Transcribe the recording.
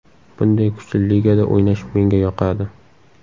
Bunday kuchli ligada o‘ynash menga yoqadi.